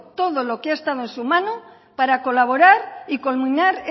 todo lo que ha estado en su mano para colaborar y culminar